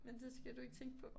Men det skal du ikke tænke på